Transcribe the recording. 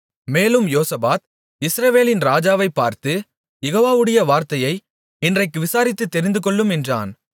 மேலும் யோசபாத் இஸ்ரவேலின் ராஜாவைப் பார்த்து யெகோவாவுடைய வார்த்தையை இன்றைக்கு விசாரித்துத் தெரிந்துகொள்ளும் என்றான்